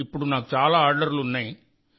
ఇప్పుడు నాకు చాలా ఆర్డర్లు ఉన్నాయి సార్